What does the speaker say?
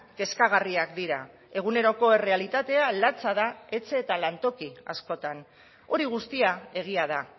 kezkagarriak dira eguneroko errealitatea latza da etxe eta lantoki askotan hori guztia egia da